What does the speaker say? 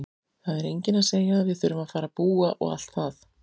Það er enginn að segja að við þurfum að fara að búa og allt það!